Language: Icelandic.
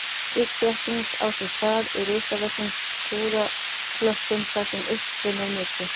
Slík þétting á sér stað í risavöxnum skúraklökkum þar sem uppstreymi er mikið.